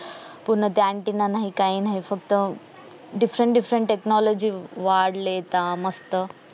पूर्ण ते antenna नाही ते काय नाही फक्त different differenttechnology वाढलेता मस्त